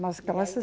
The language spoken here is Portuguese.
Mas graças